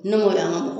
Ne m'o y'an